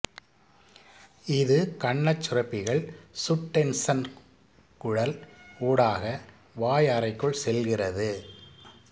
இது கன்னச் சுரப்பிகள் சுட்டென்சன் குழல் ஊடாக வாயறைக்குள் செல்கிறது